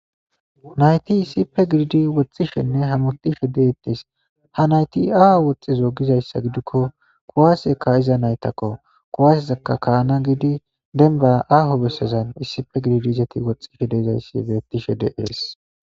nayti isipe giriidi woxxishenne hamutishe deettes ha nayti ao woxxizo gizayssa gidikko kuwaasekka iza naytakko kuwasezakka kaana gidi denba aaho bessazan issife giridiizeti woxxishe dezayssi bettishe de ees